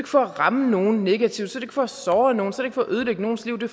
for at ramme nogen negativt så det for at såre nogen så er for at ødelægge nogens liv det